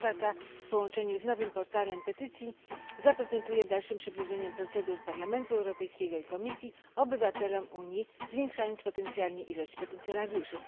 Inicjatywa ta w połączeniu z nowym portalem petycji zaprocentuje dalszym przybliżeniem procedur Parlamentu Europejskiego i Komisji obywatelom Unii, zwiększając potencjalnie ilość petycjonariuszy.